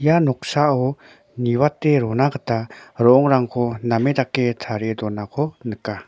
ia noksao niwate rona gita rongrangko name dake tarie donako nika.